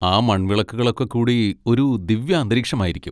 ആ മൺവിളക്കുകളൊക്കെ കൂടി ഒരു ദിവ്യാന്തരീക്ഷമായിരിക്കും.